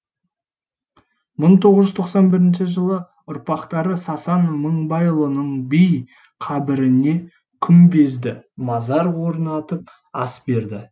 мың тоғыз жүз тоқсан бірінші жылы ұрпақтары сасан мыңбайұлының би қабіріне күмбезді мазар орнатып ас берді